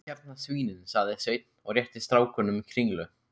Hérna svínin, sagði Sveinn og rétti strákunum kringlu.